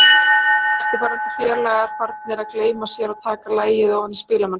Og eftirlifandi félagar farnir að gleyma sér og taka lagið ofan í spilamennskuna.